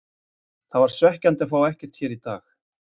Það var svekkjandi að fá ekkert hér í dag.